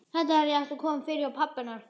Þetta hefði átt að koma fyrir hjá pabba hennar.